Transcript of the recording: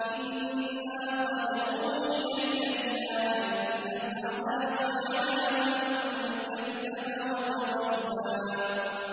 إِنَّا قَدْ أُوحِيَ إِلَيْنَا أَنَّ الْعَذَابَ عَلَىٰ مَن كَذَّبَ وَتَوَلَّىٰ